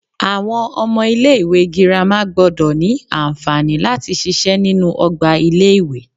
Àwon omo ilé ìwé girama gbodò ní ànfàní láti sise nínú ogbà ilé ìwé